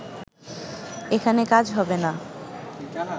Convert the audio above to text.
এখানে কাজ হবে না